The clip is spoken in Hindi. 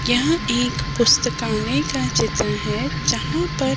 यहाँ एक पुस्तकालय का चित्र है जहाँ पर --